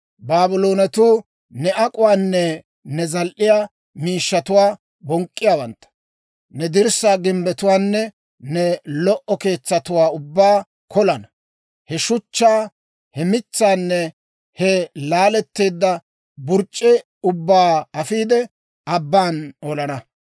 Baabloonetuu ne ak'uwaanne ne zal"iyaa miishshatuwaa bonk'k'anawantta. Ne dirssaa gimbbetuwaanne ne lo"o keetsatuwaa ubbaa kolana; he shuchchaa, he mitsaanne he laaletteedda burc'c'e ubbaa afiide, abban olana.